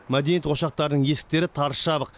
мәдениет ошақтарының есіктері тарс жабық